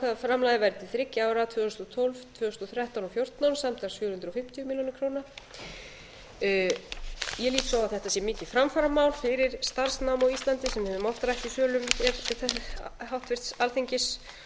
að framlagið væri til þriggja ára tvö þúsund og tólf tvö þúsund og þrettán og tvö þúsund og fjórtán samtals fjögur hundruð fimmtíu milljónir króna ég lít svo á að þetta sé mikið framfaramál fyrir starfsnám á íslandi sem við höfum oft rætt í sölum háttvirtur alþingis